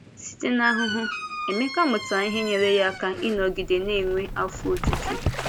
Site n’ahụhụ, Émeka mụtara ihe nyere ya aka ịnọgide na-enwe afọ ojuju.